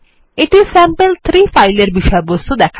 এটি স্যাম্পল3 ফাইলের বিষয়বস্তু